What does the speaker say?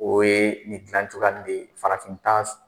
O ye nin dilancogoya de ye farafinta